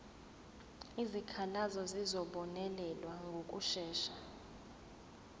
izikhalazo zizobonelelwa ngokushesha